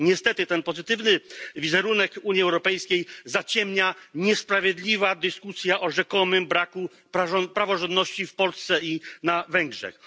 Niestety ten pozytywny wizerunek Unii Europejskiej zaciemnia niesprawiedliwa dyskusja o rzekomym braku praworządności w Polsce i na Węgrzech.